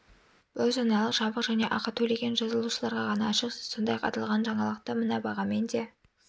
бұл жаңалық жабық және ақы төлеген жазылушыларға ғана ашық сіз сондай-ақ аталған жаңалықты мына бағамен де